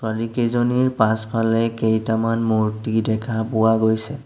ছোৱালীকেইজনীৰ পাছফালে কেইটামান মূৰ্ত্তি দেখা পোৱা গৈছে।